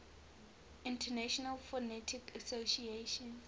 international phonetic association